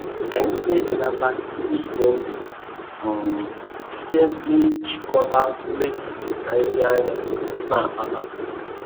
Anyị na-ebelata ihe ize ndụ um site n'ijikọta mmefu na ihe anyị na-akpata.